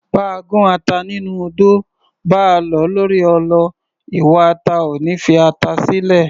Báa gún ata nínú odó, báa lọ̀ ọ́ lórí ọlọ, iwa ata ò ní fi ata sílẹ̀